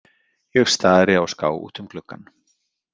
Ég stari á ská út um gluggann.